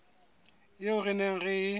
eo re neng re e